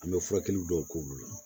An bɛ furakɛli dɔw k'olu la